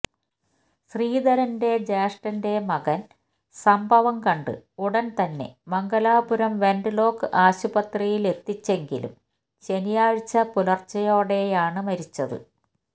ശ്രീധരന്റെ ജ്യേഷ്ഠന്റെ മകന് സംഭവം കണ്ട് ഉടന്തന്നെ മംഗലാപുരം വെന്റ് ലോക്ക് ആശുപത്രിയിലെത്തിച്ചെങ്കിലും ശനിയാഴ്ച പുലര്ച്ചയോടെയാണ് മരിച്ചത്